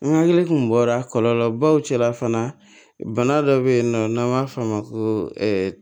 N hakili kun bɔra kɔlɔlɔ baw cɛla fana bana dɔ bɛ yen nɔ n'an b'a f'a ma ko